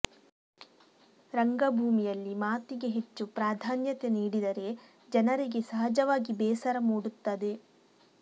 ರಂಗಭೂಮಿಯಲ್ಲಿ ಮಾತಿಗೆ ಹೆಚ್ಚು ಪ್ರಾಧಾನ್ಯತೆ ನೀಡಿದರೆ ಜನರಿಗೆ ಸಹಜವಾಗಿ ಬೇಸರ ಮೂಡುತ್ತದೆ